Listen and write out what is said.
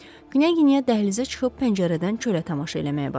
Qniyə dəhlizə çıxıb pəncərədən çölə tamaşa eləməyə başladı.